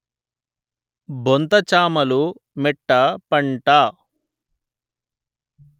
బొంత చామలు మెట్ట పంట